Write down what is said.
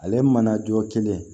Ale mana jɔ kelen